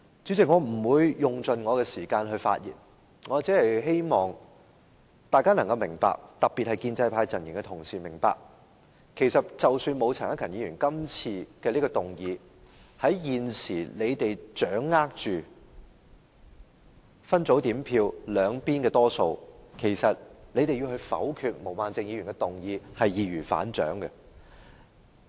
主席，我不會用盡我的發言時間，只希望大家特別是建制派陣營的同事能夠明白，即使沒有陳克勤議員今次提出的議案，在現時他們掌握分組點票絕對優勢的情況下，要否決毛孟靜議員的議案其實是易如反掌。